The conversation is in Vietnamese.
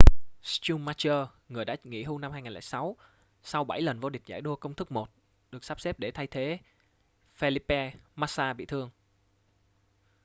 schumacher người đã nghỉ hưu năm 2006 sau bảy lần vô địch giải đua công thức 1 được sắp xếp để thay thế felipe massa bị thương